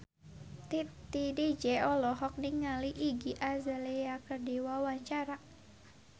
Titi DJ olohok ningali Iggy Azalea keur diwawancara